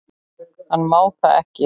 Hann má það ekki.